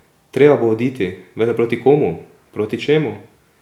Treba bo oditi, vendar proti komu, proti čemu?